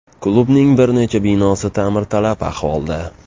Klubning bir nechta binosi ta’mirtalab ahvolda.